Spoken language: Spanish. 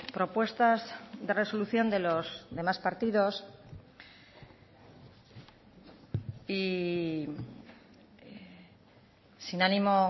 propuestas de resolución de los demás partidos y sin ánimo